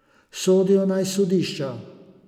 Sodijo naj sodišča.